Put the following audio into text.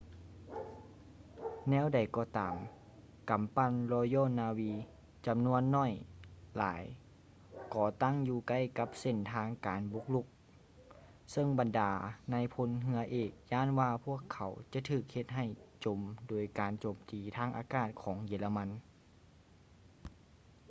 ແນວໃດກໍຕາມກຳປັ່ນ royal navy ຈຳນວນໜ້ອຍຫຼາຍກໍຕັ້ງຢູ່ໃກ້ກັບເສັ້ນທາງການບຸກລຸກ ເຊິ່ງບັນດານາຍພົນເຮືອເອກຢ້ານວ່າພວກເຂົາຈະຖືກເຮັດໃຫ້ຈົມໂດຍການໂຈມຕີທາງອາກາດຂອງເຢຍລະມັນ